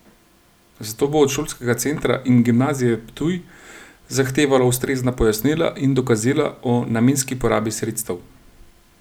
Zato bo od šolskega centra in Gimnazije Ptuj zahtevalo ustrezna pojasnila in dokazila o namenski porabi sredstev.